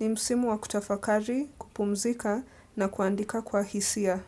Ni msimu wa kutafakari, kupumzika na kuandika kwa hisia.